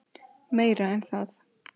Meira en það.